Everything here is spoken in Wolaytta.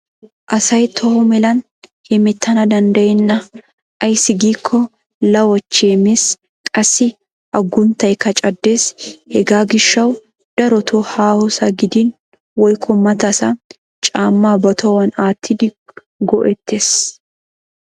Asay toho melan hemettana danddayenna ayssi gikko lawachchee mes qassi agunttaykka caddes hegaa gishshawu darotoo haahosaa gidin woykko matasa caammaa ba tohuwan aattidi go'ettes.